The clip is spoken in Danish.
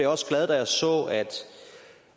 også glad da jeg så